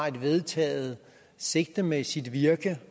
et vedtaget sigte med sit virke